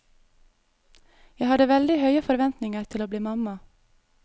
Jeg hadde veldig høye forventninger til å bli mamma.